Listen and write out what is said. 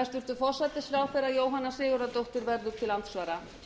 hæstvirtur forsætisráðherra jóhanna sigurðardóttir verður til andsvara